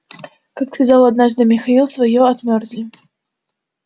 как сказал однажды михаил своё отмёрзли